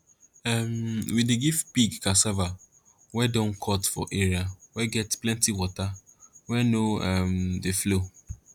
um we dey give pig cassava wey don cut for area wey get plenti water wey no um dey flow